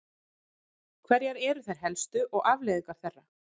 Hverjar eru þær helstu og afleiðingar þeirra?